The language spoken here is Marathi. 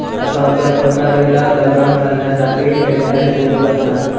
सावकारीला लगाम घालण्यासाठी हेल्पलाईन सुरू करणार'